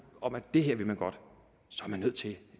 om at det her vil man godt så er man nødt til i